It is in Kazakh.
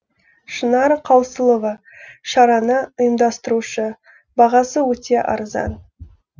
шынар қаусылова шараны ұйымдастырушы бағасы өте арзан